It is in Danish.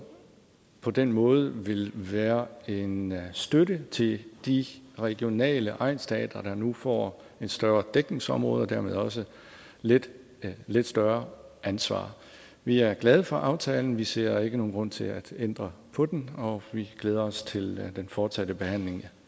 på den måde vil være en støtte til de regionale egnsteatre der nu får et større dækningsområde og dermed også lidt lidt større ansvar vi er glade for aftalen vi ser ikke nogen grund til at ændre på den og vi glæder os til den fortsatte behandling